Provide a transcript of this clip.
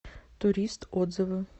турист отзывы